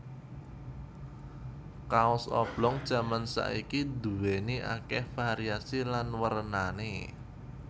Kaos oblong jaman saiki duwéni akéh variasi lan wernané